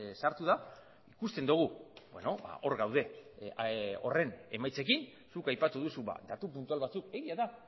sartu da ikusten dugu hor gaude horren emaitzekin zuk aipatu duzu datu puntual batzuk egia da